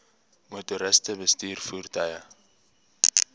motoriste bestuur voertuie